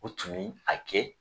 U tun min a kɛ